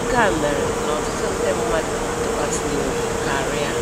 nke a mere n'ọtụtụ ndị mmadụ na-atụkwasị ya obi karịa